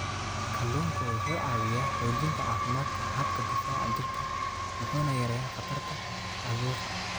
Kalluunku wuxuu caawiyaa xoojinta caafimaadka habka difaaca jirka wuxuuna yareeyaa khatarta caabuqa.